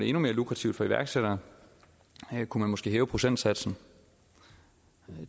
endnu mere lukrativt for iværksættere her kunne man måske hæve procentsatsen